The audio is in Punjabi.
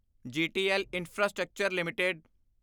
GTL infrastructure LTD